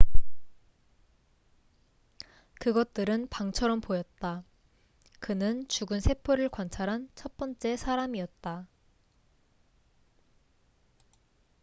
그것들은 방처럼 보였다 그는 죽은 세포를 관찰한 첫 번째 사람이었다